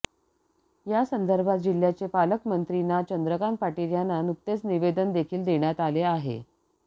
यासंदर्भात जिल्ह्याचे पालकमंत्री ना चंद्रकांत पाटील यांना नुकतेच निवेदन देखील देण्यात आले आहे